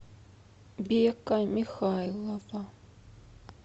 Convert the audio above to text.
бека михайлова